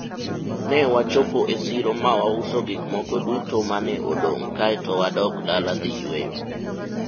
ne wachopo e siro ma wauso gikmoko duto mane odong' kaeto wadok dala dhi yueyo